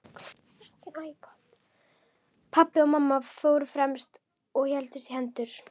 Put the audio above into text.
Pabbi og mamma fóru fremst og héldust í hendur.